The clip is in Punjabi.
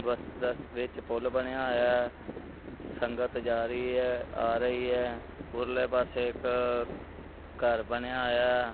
ਵਿੱਚ ਪੁੱਲ ਬਣਿਆ ਹੋਇਆ ਸੰਗਤ ਜਾ ਰਹੀ ਐ ਆ ਰਹੀ ਐ ਉਰਲੇ ਪਾਸੇ ਇੱਕ ਘਰ ਬਣਿਆ ਹੋਇਆ।